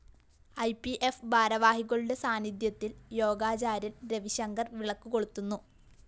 E P F ഭാരവാഹികളുടെ സാന്നിധ്യത്തില്‍ യോഗാചാര്യന്‍ രവിശങ്കര്‍ വിളക്ക് കൊളുത്തുന്നു